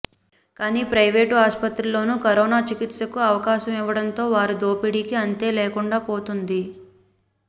కానీ ప్రయివేటు ఆస్పత్రుల్లోనూ కరోనా చికిత్సకు అవకాశం ఇవ్వడంతో వారి దోపిడీకి అంతే లేకుండా పోతున్నది